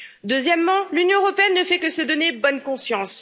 Deuxièmement, l'Union européenne ne fait que se donner bonne conscience.